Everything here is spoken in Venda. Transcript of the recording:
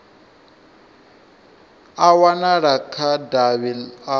a wanala kha davhi a